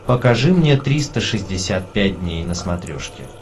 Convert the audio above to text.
покажи мне триста шестьдесят пять дней на смотрешке